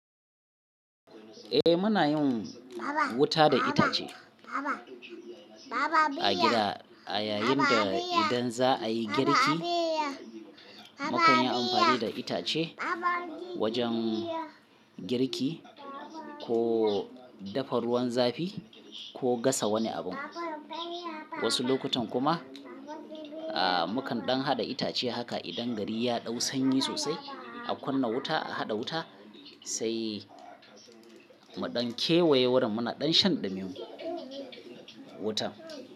Eh muna yin wuta da itace a gida. A yayinda idan za a yi girki, mukan yi amfani da itace wajen girki ko dafa ruwan zafi ko gasa wani abun. Wasu lokutan kuma mukan ɗan haɗa itace haka idan gari ya ɗau sanyi sosai, a kunna wuta, a haɗa wuta sai mu ɗan kewaye wurin muna ɗan shan ɗumi wuta.